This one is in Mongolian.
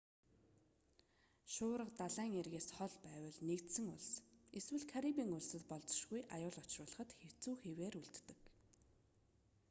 шуурга далайн эргээс хол байвал нэгдсэн улс эсвэл карибын улсад болзошгүй аюул учруулахад хэцүү хэвээр үлддэг